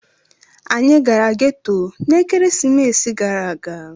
anyi gara geto na ekeresimesi gara aga.